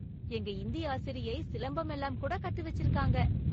எங்க இந்தி ஆசிரியை சிலம்பம் எல்லாம் கூட கத்து வச்சிருக்காங்க!